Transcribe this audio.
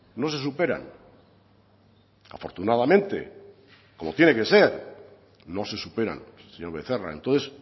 no se superan afortunadamente como tiene que ser no se superan señor becerra entonces